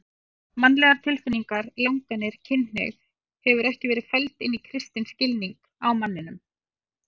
Mannlegar tilfinningar, langanir, kynhneigð hefur ekki verið felld inn í kristinn skilning á manninum.